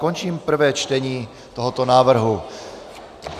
Končím prvé čtení tohoto návrhu.